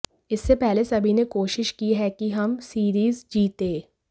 इससे पहले सभी ने कोशिश की है कि हम सीरीज जीतें